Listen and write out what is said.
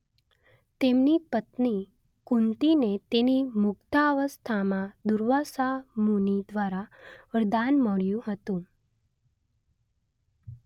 તેમની પત્ની કુંતીને તેની મુગ્ધાવસ્થામાં દુર્વાસા મુનિ દ્વારા વરદાન મળ્યું હતું